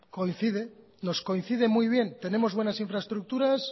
nos coincide muy bien tenemos buenas infraestructuras